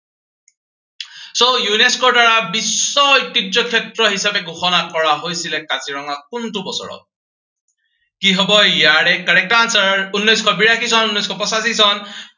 so UNESCO ৰ দ্বাৰা বিশ্ব ঐতিহ্যক্ষেত্ৰ হিচাপে ঘোষণা কৰা হৈছিলে কোনটো বছৰত? কি হব ইয়াৰে correct answer উনৈচশ বিৰাশী টন, উনৈচশ পঁচাশী চন